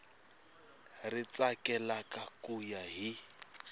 ri tsakelaka ku ya hi